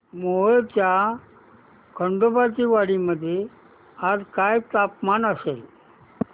मोहोळच्या खंडोबाची वाडी मध्ये आज काय तापमान असेल